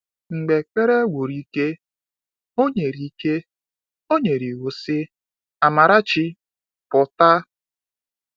Mgbe ekpere gwuru ike, o nyere ike, o nyere iwu sị: “Amarachi, pụta!”